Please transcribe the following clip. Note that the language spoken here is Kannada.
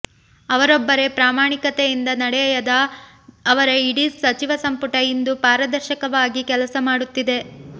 ಅವರೊಬ್ಬರೆ ಪ್ರಾಮಾಣಿಕತೆಯಿಂದ ನಡೆಯದೆ ಅವರ ಇಡೀ ಸಚಿವ ಸಂಪುಟ ಇಂದು ಪಾರದರ್ಶಕವಾಗಿ ಕೆಲಸ ಮಾಡುತ್ತಿದೆ